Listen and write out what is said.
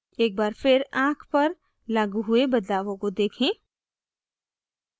एक बार फिर आँख पर लागू हुए बदलावों को देखें